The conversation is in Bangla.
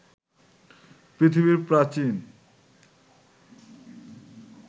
পৃথিবীর প্রাচীন